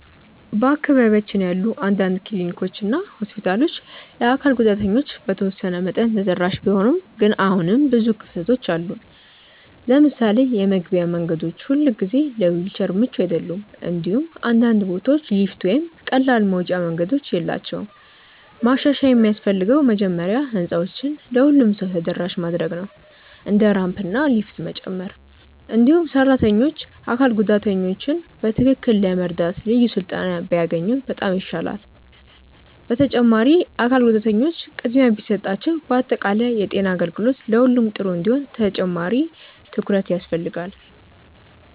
በአካባቢያችን ያሉ አንዳንድ ክሊኒኮች እና ሆስፒታሎች ለአካል ጉዳተኞች በተወሰነ መጠን ተደራሽ ቢሆኑም ግን አሁንም ብዙ ክፍተቶች አሉ። ለምሳሌ የመግቢያ መንገዶች ሁልጊዜ ለዊልቸር ምቹ አይደሉም፣ እንዲሁም አንዳንድ ቦታዎች ሊፍት ወይም ቀላል መውጫ መንገዶች የላቸውም። ማሻሻያ የሚያስፈልገው መጀመሪያ ህንፃዎችን ለሁሉም ሰው ተደራሽ ማድረግ ነው፣ እንደ ራምፕ እና ሊፍት መጨመር። እንዲሁም ሰራተኞች አካል ጉዳተኞችን በትክክል ለመርዳት ልዩ ስልጠና ቢያገኙ በጣም ይሻላል። በተጨማሪም አካል ጉዳተኞች ቅድሚያ ቢሰጣቸው በአጠቃላይ የጤና አገልግሎት ለሁሉም ጥሩ እንዲሆን ተጨማሪ ትኩረት ያስፈልጋል።